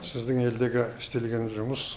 сіздің елдегі істелген жұмыс